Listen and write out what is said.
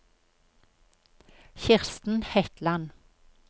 Kirsten Hetland